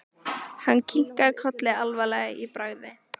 Hann kinkaði kolli alvarlegur í bragði.